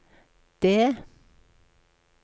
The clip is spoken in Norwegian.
D